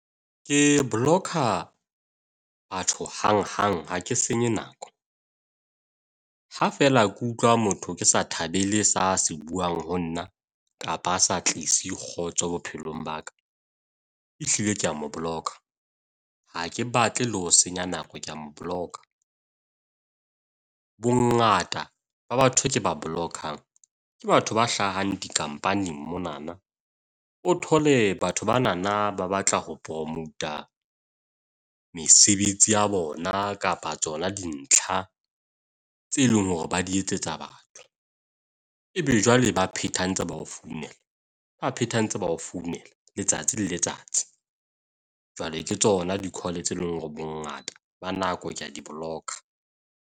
Ke block-a batho hang hang ha ke senye nako. Ha feela ke utlwa motho ke sa thabele se a se buang ho nna kapa a sa tlise kgotso bophelong ba ka. Ehlile ke a mo block-a. Ha ke batle le ho senya nako ke a mo block-a. Bongata ba batho e ke ba block-ang ke batho ba hlahang di-company monana, o thole batho bana ba batla ho promot-a mesebetsi ya bona kapa tsona dintlha tse leng hore ba di etsetsa batho. Ebe jwale ba pheta ntse ba o founela, ba pheta ntse ba o founela letsatsi le letsatsi. Jwale ke tsona di-call tse leng hore bongata ba nako ke a di block-a.